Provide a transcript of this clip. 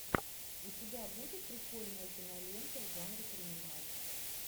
у тебя будет прикольная кинолента в жанре криминал